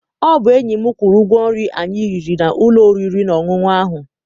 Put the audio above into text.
Ọ bụ enyi m kwụrụ ụgwọ nri anyị riri n'ụlọ oriri na ọṅụṅụ ahụ.